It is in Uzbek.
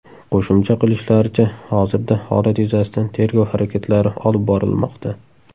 Qo‘shimcha qilishlaricha, hozirda holat yuzasidan tergov harakatlari olib borilmoqda.